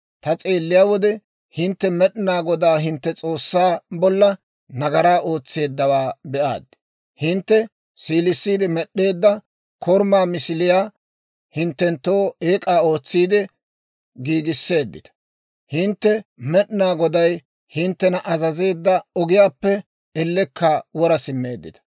Ta s'eelliyaa wode, hintte Med'inaa Godaa hintte S'oossaa bolla nagaraa ootseeddawaa be'aad; hintte siilissiide med'd'eedda korumaa misiliyaa hinttenttoo eek'aa ootsiide giigisseeddita. Hintte Med'inaa Goday hinttena azazeedda ogiyaappe ellekka wora simmeeddita.